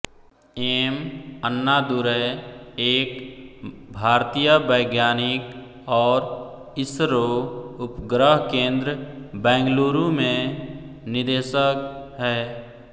M Annadurai एक भारतीय वैज्ञानिक और इसरो उपग्रह केंद्र बैंगलुरू में निदेशक हैं